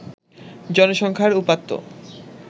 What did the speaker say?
জনসংখ্যার উপাত্ত